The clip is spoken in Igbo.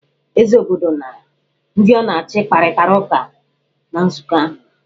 Eze obodo na ndị ọ na-achị kparịtara ụka na nzụkọ ahụ.